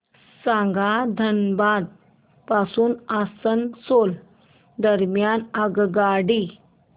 सांगा धनबाद पासून आसनसोल दरम्यान आगगाडी